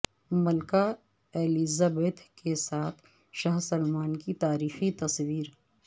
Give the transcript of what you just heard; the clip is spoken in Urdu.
ملکہ ایلزبتھ کے ساتھ شاہ سلمان کی تاریخی تصویر